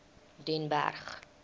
den berg